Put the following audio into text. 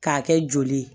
K'a kɛ joli ye